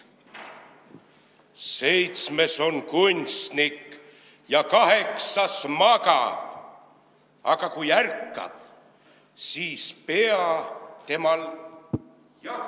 Seitsmes on kunstnik ja kaheksas magab, aga kui ärkab, siis pea temal jagab.